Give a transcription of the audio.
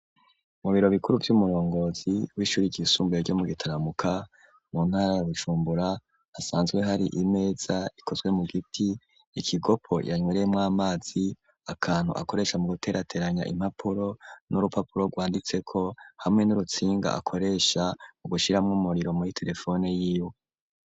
Mu biro bikuru vy'umurongozi w'ishuri ryisumbure ryo mu Gitaramuka mu ntara ya Bujumbura hasanzwe hari imeza ikozwe mu giti, ikigopo yanywereyemwo amazi, akantu akoresha mu guterateranya impapuro, n'urupapuro rwanditseko, hamwe n'urutsinga akoresha mu gushiramwo umuriro muri terefone yiwe.